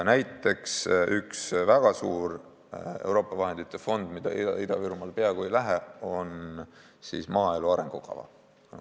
Näiteks, üks väga suur Euroopa vahendite fond, mille raha Ida-Virumaale peaaegu ei lähe, on maaelu arengukava.